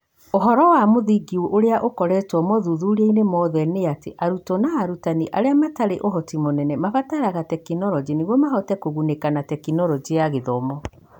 ũhoro wa mũthingi ũrĩa ũkoretwo mothuthuriainĩ mothe nĩatĩ arutwo na arutani arĩa matarĩ ũhoti mũnene marabatara tekinoronjĩ nĩguo Mahote kũgunĩka na Tekinoronjĩ ya Gĩthomo.